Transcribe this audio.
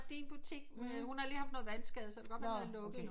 Der er din butik men hun har lige haft noget vandskade så det kan godt være den er lukket